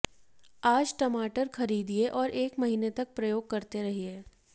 आज टमाटर खरीदिए और एक महीने तक प्रयोग करते रहिए